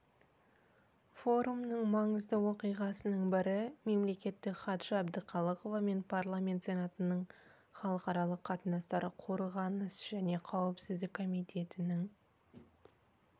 форумның маңызды оқиғасының бірі мемлекеттік хатшы әбдіқалықова мен парламент сенатының халықаралық қатынастар қорғаныс және қауіпсіздік комитетінің